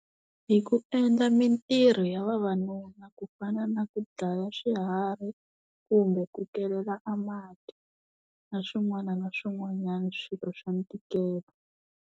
Hi ku endla mintirho ya vavanuna ku fana na ku dlaya swiharhi kumbe ku kelela a mati na swin'wana na swin'wanyana swirho swa ntikelo.